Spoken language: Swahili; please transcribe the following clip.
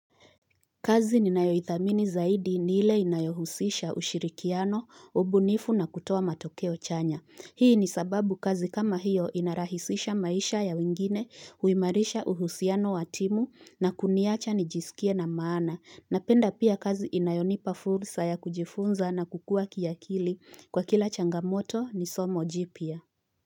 Kazi ni nayoithamini zaidi niile inayohusisha ushirikiano, ubunifu na kutoa matokeo chanya. Hii ni sababu kazi kama hiyo inarahisisha maisha ya wingine huimarisha uhusiano watimu na kuniacha nijisikie na maana. Napenda pia kazi inayonipa fursa ya kujifunza na kukua kiakili kwa kila changamoto ni somo jipia.